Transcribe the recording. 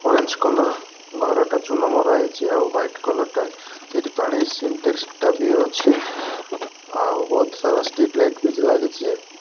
Orange colour ଘରଟା ଚୂନ ମରାହେଇଚି ଆଉ ହ୍ୱାଇଟ କଲର ଟା ସେଇଠି ପାଣି ସିନଟେକ୍ସ ଟା ବି ଅଛି। ଆଉ ବୋହୁତ ସାରା ଷ୍ଟ୍ରିଟ୍ ଲାଇଟ ବି ଚ୍ ଲାଗିଚି।